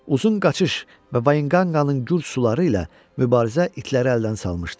Uzun qaçış və Vaqinqanın gur suları ilə mübarizə itləri əldən salmışdı.